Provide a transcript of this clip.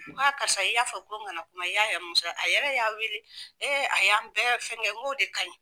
Ko aa karisa i y'a fɔ ko n kana kuma i y'a a yɛrɛ y'a wele a y'an bɛɛ fɛn kɛ ko de ka ɲi.